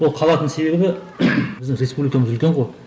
ол қалатын себебі біздің республикамыз үлкен ғой